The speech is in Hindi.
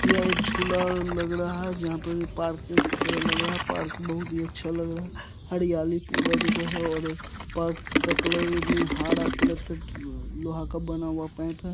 यहाँ एक झूला लग रहा है जहाँ पर पार्क की तरहा लग रहा है पार्क बहोत ही अच्छा लग रहा है हरियाली पूरा जगह है और पार्क का कलर में हारा में हरा कलर का लोहा का बना हुआ पाइप है।